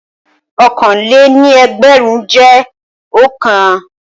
Ọ̀kanlé-ní-ẹgbẹ̀rún jẹ́ òǹkà.